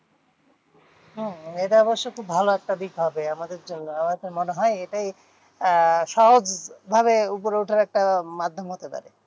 হম এটা অবশ্য খুব ভালো একটা দিক হবে আমাদের জন্য। আমার তো মনে হয় এটাই আহ সহজ ভাবে উপরে উঠার একটা মাধ্যম হতে পারে।